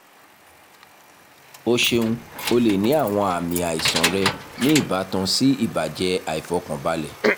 o ṣeun o le ni awọn aami aisan rẹ ni ibatan si ibajẹ aifọkanbalẹ